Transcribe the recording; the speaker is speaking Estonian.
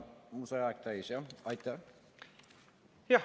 Mul sai aeg täis, jah?